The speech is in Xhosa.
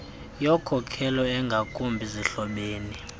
yokhokelo engakumbi zihlobene